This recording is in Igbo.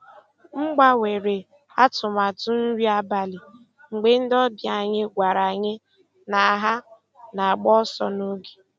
M gbanwere atụmatụ nri abalị mgbe ndị ọbịa anyị gwara anyị na ha na-agba ọsọ n'oge.